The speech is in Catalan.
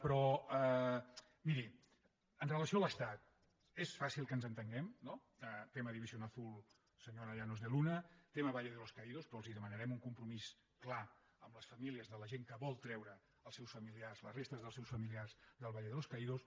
però miri amb relació a l’estat és fàcil que ens entenguem no tema división azul senyora llanos de luna tema valle de los caídos però els demanarem un compromís clar amb les famílies de la gent que vol treure els seus familiars les restes dels seus familiars del valle de los caídos